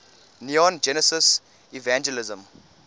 neon genesis evangelion